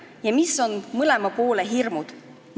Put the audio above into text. Ja mis on mõlema poole hirmud?